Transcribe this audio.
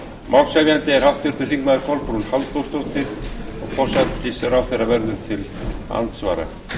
málshefjandi er háttvirtir þingmenn kolbrún halldórsdóttir forsætisráðherra verður til andsvara